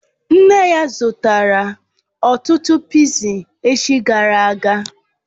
Nne ya zutara ọtụtụ pịịsi echi gara aga